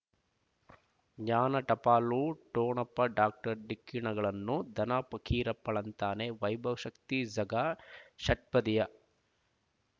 ಜ್ಞಾನ ಟಪಾಲು ಠೊಣಪ ಡಾಕ್ಟರ್ ಢಿಕ್ಕಿ ಣಗಳನು ಧನ ಫಕೀರಪ್ಪ ಳಂತಾನೆ ವೈಭವ್ ಶಕ್ತಿ ಝಗಾ ಷಟ್ಪದಿಯ